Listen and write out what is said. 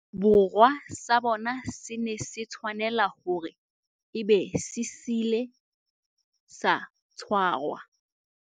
Borwa sa bone se ne se tshwanela hore e be se ile sa tshwarwa